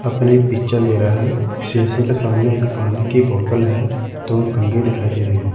अपनी पिक्चर ले रह है शीशे के सामने एक पानी की बोतल हैं दो कंगे दिखाई दे रहे है।